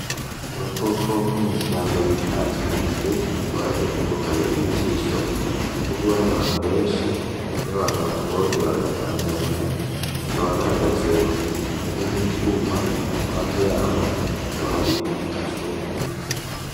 Agakoko ko mw'ishamba bita inkende, kakaba ar'agakoko kabereye ijisho, gakundwa n'abantu benshi, iyo abantu bakabonye baragatangarira, kakaba gahagaze ku kintu kimeze nk'icuma, iruhande yaho hakaba hari ibiti vy'amashurwe.